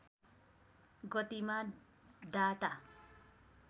गतिमा डाटा